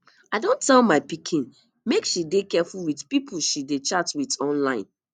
i don tell my pikin make she dey careful with the people she dey chat with online